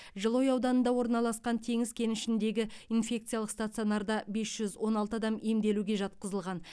жылыой ауданында орналасқан теңіз кенішіндегі инфекциялық стационарда бес жүз он алты адам емделуге жатқызылған